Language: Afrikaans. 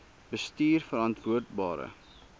bestuurverantwoordbare